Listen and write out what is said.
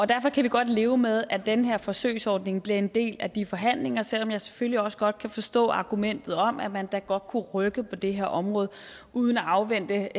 derfor kan vi godt leve med at den her forsøgsordning bliver en del af de forhandlinger selv om jeg selvfølgelig også godt kan forstå argumentet om at man da godt kunne rykke på det her område uden at afvente